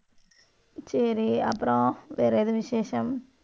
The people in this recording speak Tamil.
சரி, அப்புறம், வேற எது விசேஷம்?